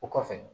O kɔfɛ